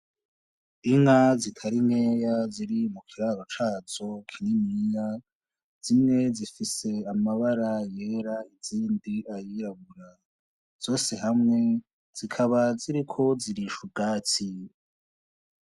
Inka zitari nkeya ziri mu kiraro cazo kininiya, zimwe zifise amabara yera izindi ayirabura , zose hamwe zikaba ziriko zirisha ubwatsi